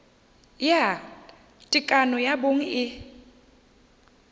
ya tekano ya bong e